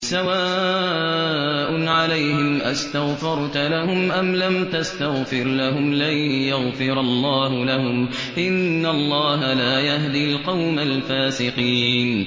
سَوَاءٌ عَلَيْهِمْ أَسْتَغْفَرْتَ لَهُمْ أَمْ لَمْ تَسْتَغْفِرْ لَهُمْ لَن يَغْفِرَ اللَّهُ لَهُمْ ۚ إِنَّ اللَّهَ لَا يَهْدِي الْقَوْمَ الْفَاسِقِينَ